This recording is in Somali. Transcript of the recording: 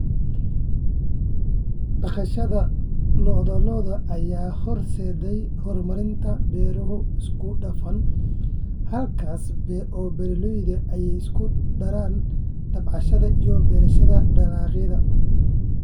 Dhaqashada lo'da lo'da ayaa horseeday horumarinta beero isku dhafan, halkaas oo beeraleydu ay isku daraan tabcashada iyo beerashada dalagyada.